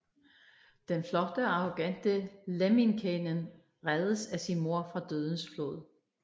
Den flotte og arrogante Lemminkäinen reddes af sin mor fra dødens flod